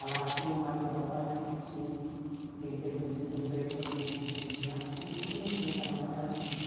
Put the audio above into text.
A latinha é um material quase que extinto, porque em tempo de desemprego todo mundo vive de latinha, todo mundo junta na tua casa e vende.